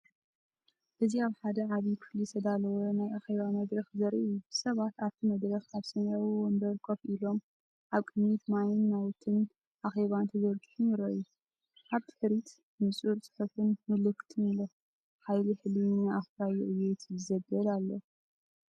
እዚ ኣብ ሓደ ዓቢ ክፍሊ ዝተዳለወ ናይ ኣኼባ መድረኽ ዘርኢ እዩ። ሰባት ኣብቲ መድረኽ ኣብ ሰማያዊ መንበር ኮፍ ኢሎም፡ኣብ ቅድሚት ማይን ናውቲ ኣኼባን ተዘርጊሖም ይረኣዩ። ኣብ ድሕሪት ንጹር ጽሑፍን ምልክትን ኣሎ፡"ሓይሊ ሕልሚ ንኣፍራዪ ዕብየት” ዘበል ኣሎ።